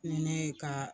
Ni ne ye ka